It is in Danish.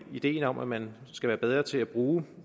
ideen om at man skal være bedre til at bruge